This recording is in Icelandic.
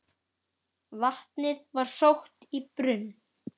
Vatnið var sótt í brunn.